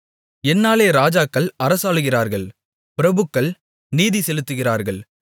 என்னாலே ராஜாக்கள் அரசாளுகிறார்கள் பிரபுக்கள் நீதிசெலுத்துகிறார்கள்